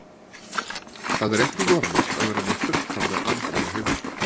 Það er ekki normalt að vera við fullkomna andlega heilsu.